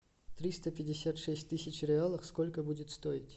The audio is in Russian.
триста пятьдесят шесть тысяч реалов сколько будет стоить